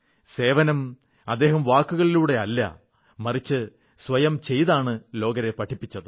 സേവനം അദ്ദേഹം വാക്കുകളിലൂടെയല്ല മറിച്ച് സ്വയം ചെയ്താണ് ലോകരെ പഠിപ്പിച്ചത്